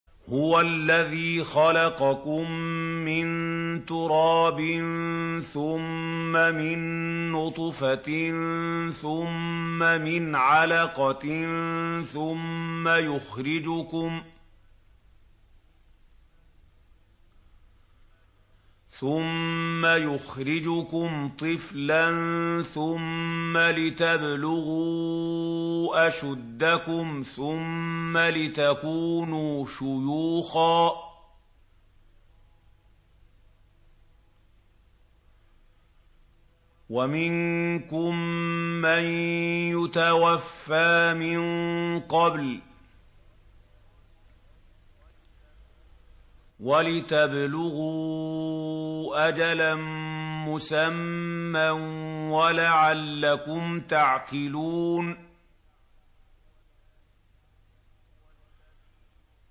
هُوَ الَّذِي خَلَقَكُم مِّن تُرَابٍ ثُمَّ مِن نُّطْفَةٍ ثُمَّ مِنْ عَلَقَةٍ ثُمَّ يُخْرِجُكُمْ طِفْلًا ثُمَّ لِتَبْلُغُوا أَشُدَّكُمْ ثُمَّ لِتَكُونُوا شُيُوخًا ۚ وَمِنكُم مَّن يُتَوَفَّىٰ مِن قَبْلُ ۖ وَلِتَبْلُغُوا أَجَلًا مُّسَمًّى وَلَعَلَّكُمْ تَعْقِلُونَ